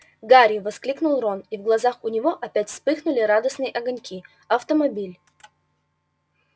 гарри воскликнул рон и в глазах у него опять вспыхнули радостные огоньки автомобиль